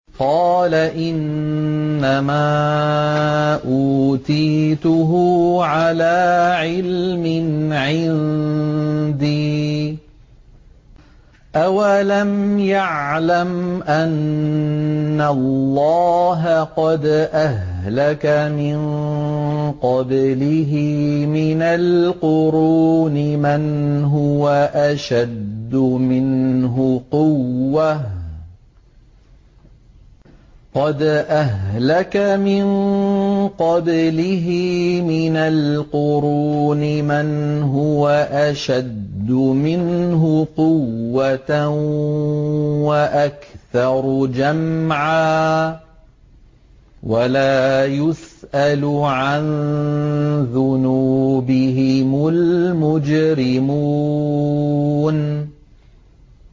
قَالَ إِنَّمَا أُوتِيتُهُ عَلَىٰ عِلْمٍ عِندِي ۚ أَوَلَمْ يَعْلَمْ أَنَّ اللَّهَ قَدْ أَهْلَكَ مِن قَبْلِهِ مِنَ الْقُرُونِ مَنْ هُوَ أَشَدُّ مِنْهُ قُوَّةً وَأَكْثَرُ جَمْعًا ۚ وَلَا يُسْأَلُ عَن ذُنُوبِهِمُ الْمُجْرِمُونَ